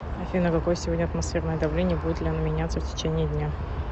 афина какое сегодня атмосферное давление и будет ли оно меняться в течении дня